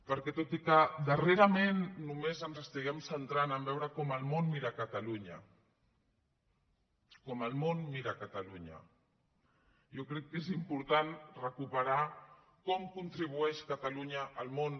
perquè tot i que darrerament només ens estiguem centrant a veure com el món mira catalunya com el món mira catalunya jo crec que és important recuperar com contribueix catalunya al món